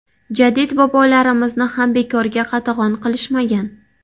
Jadid bobolarimizni ham bekorga qatag‘on qilishmagan.